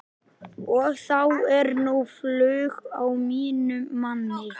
Og þá er nú flug á mínum manni.